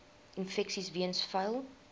infeksies weens vuil